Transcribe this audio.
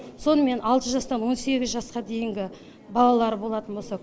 сонымен алты жастан он сегіз жасқа дейінгі балалары болатын болса